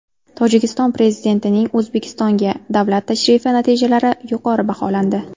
Tojikiston prezidentining O‘zbekistonga davlat tashrifi natijalari yuqori baholandi.